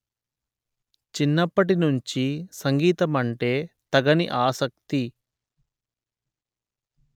చిన్నప్పటి నుంచి సంగీతమంటే తగని ఆసక్తి